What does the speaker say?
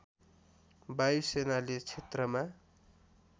वायु सेनाले क्षेत्रमा